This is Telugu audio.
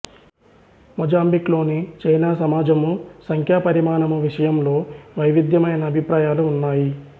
మొజాంబిక్ లోని చైనా సమాజము సంఖ్యా పరిమాణము విషయంలో వైవిధ్యమైన అభిప్రాయాలు ఉన్నాయి